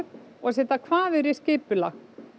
og setja kvaðir í skipulag